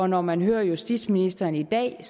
når man hører justitsministeren i dag